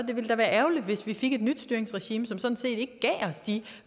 det ville da være ærgerligt hvis vi fik et nyt styringsregime som ikke gav os de